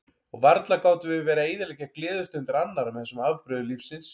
Og varla gátum við verið að eyðileggja gleðistundir annarra með þessum afbrigðum lífsins.